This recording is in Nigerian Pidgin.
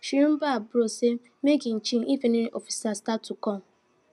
she remind her bros say make him chill if any officer start to come